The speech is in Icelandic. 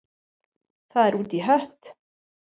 Það er út í hött.